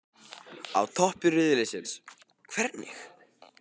Á toppi riðilsins- hvernig?